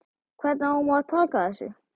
Hvernig á maður að taka þessu?